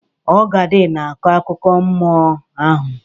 Ọgadị na-akọ akụkọ mmụọ ahụ.